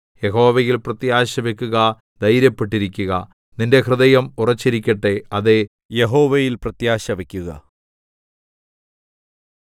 യഹോവയിൽ പ്രത്യാശവക്കുക ധൈര്യപ്പെട്ടിരിക്കുക നിന്റെ ഹൃദയം ഉറച്ചിരിക്കട്ടെ അതേ യഹോവയിൽ പ്രത്യാശവക്കുക